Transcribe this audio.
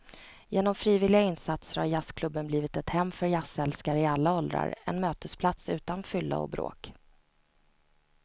Genom frivilliga insatser har jazzklubben blivit ett hem för jazzälskare i alla åldrar, en mötesplats utan fylla och bråk.